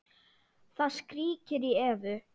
Það skríkir í Evu.